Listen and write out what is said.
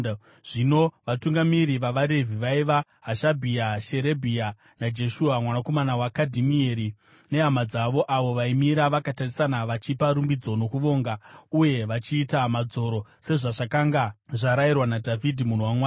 Zvino vatungamiri vavaRevhi vaiva Hashabhia, Sherebhia naJeshua, mwanakomana waKadhimieri, nehama dzavo avo vaimira vakatarisana vachipa rumbidzo nokuvonga, uye vachiita madzoro sezvazvakanga zvarayirwa naDhavhidhi munhu waMwari.